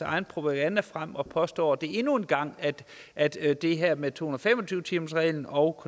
egen propaganda frem og påstår endnu en gang at at det her med to hundrede og fem og tyve timersreglen og